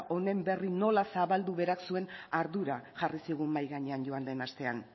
honen berri nola zabaldu berak zuen ardura jarri zigun mahai gainean joan den astean